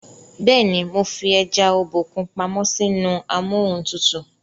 béèni mọ fí eja Obokun pàmò sí inú Amóhuntutù.